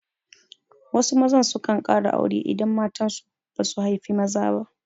Wasu maza sukan ƙara aure idan matan su basu haifi maza ba.